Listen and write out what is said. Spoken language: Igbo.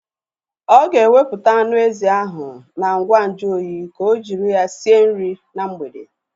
Ọ ga-ewepụta anụ ezi ahụ na ngwa nju oyi ka o jiri ya sie nri na mgbede.